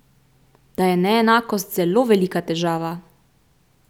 Da je neenakost zelo velika težava!